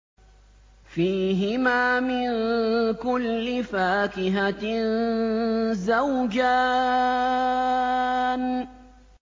فِيهِمَا مِن كُلِّ فَاكِهَةٍ زَوْجَانِ